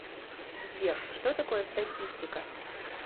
сбер что такое статистика